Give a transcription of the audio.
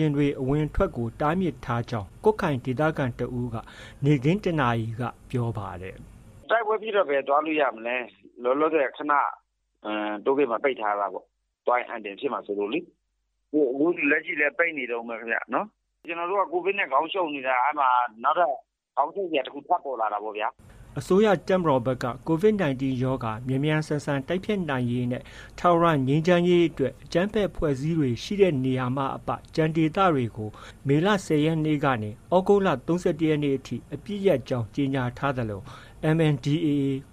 ယာဉ်အဝင်အထွက်တွေကို တားမြစ်ထားကြောင်း ကွတ်ခိုင်ဒေသခံတစ်ဦး က နေ့ခင်း ၁ နာရီလောက်ပြောပါတယ်။ “တိုက်ပွဲဖြစ်တော့ ဘယ်သွားလို့ ရမလဲ။ လောလောဆည် ခဏ တိုးဂိတ်မှာ ပိတ်ထားတာပေါ့။ သွားရင် အန္တရာယ်ဖြစ်မှာ စိုးလို့လေ။ လက်ရှိလည်း ပိတ်နေတုန်းပဲ ခင်ဗျ။ ကျနော်တို့က COVID နဲ့ ခေါင်းရှုပ်နေတာ။ နောက်ထပ် ခေါင်းရှုပ်စရာတစ်ခု ထပ်ပေါ်လာတာပေါ့ဗျာ။” အစိုးရ တပ်မတော်ဘက်က COVID-19 ရောဂါ မြန်မြန်ဆန်ဆန်တိုက်ဖျက်နိုင်ရေးနဲ့ ထာဝရငြိမ်းချမ်းရေးအတွက် အကြမ်းဖက်အဖွဲ့အစည်းတွေ ရှိတဲ့နေရာမှ အပ ကျန်ဒေသတွေကို မေလ ၁၀ရက်နေ့ကနေ သြဂုတ်လ ၃၁ရက်နေ့အထိ အပစ်ရပ်ကြောင်း ကြေညာထားသလို MNDAA